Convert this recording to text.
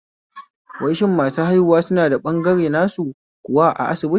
Wai shin masu haihuwa suna da ɓangare nasu kuwa a asibiti?